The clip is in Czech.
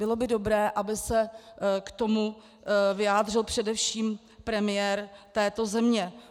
Bylo by dobré, aby se k tomu vyjádřil především premiér této země.